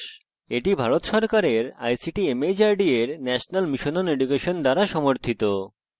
এটি ভারত সরকারের ict mhrd এর national mission on education দ্বারা সমর্থিত